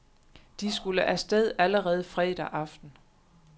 De skulle af sted allerede fredag aften.